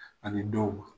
Ani dɔw ma